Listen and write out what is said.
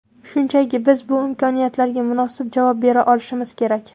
Shunchaki biz bu imkoniyatlarga munosib javob bera olishimiz kerak.